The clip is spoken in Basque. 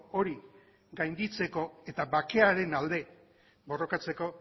hori gainditzeko eta bakearen alde borrokatzeko